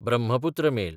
Brahmaputra mail